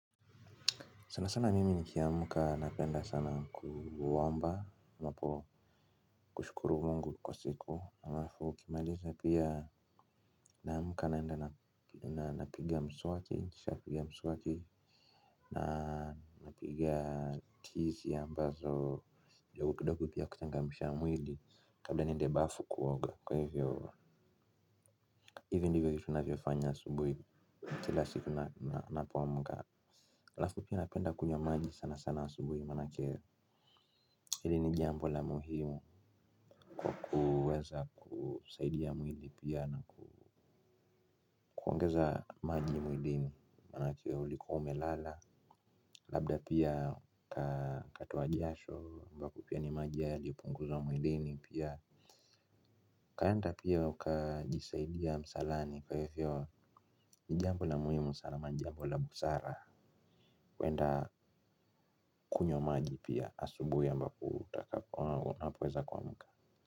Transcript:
Sana sana mimi nikiamka napenda sana kuomba napo kushukuru mungu kwa siku halafu nikimaliza pia naamka naenda na napiga mswaki kisha napiga mswaki na napiga tizi ambazo kidogo kidogo pia kuchangamsha mwili. Kabla niende bafu kuoga kwa hivyo, hivi ndivyo vitu navyofanya asubuhi kila siku napoamka. Halafu pia napenda kunywa maji sana sana asubuhi maanake, hili ni jambo la muhimu kwa kuweza kusaidia mwili pia na kuongeza maji mwilini maanake ulikuwa umelala, labda pia ukatoa jasho ambapo pia ni maji yalipunguzwa mwilini pia, ukaenda pia ukajisaidia msalani kwa hivyo ni jambo la muhimu sana ama ni jambo la busara. Kuenda kunywa maji pia asubuhi ambapo utakapo au unapoweza kuamka.